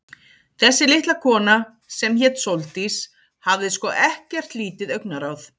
Þessi litla kona, sem hét Sóldís, hafði sko ekkert lítið augnaráð.